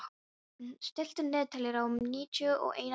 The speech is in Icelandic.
Dröfn, stilltu niðurteljara á níutíu og eina mínútur.